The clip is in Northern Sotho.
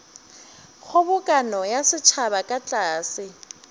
kgobokano ya setšhaba ka tlase